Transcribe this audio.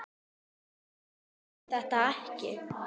Þú segir þeim þetta ekki.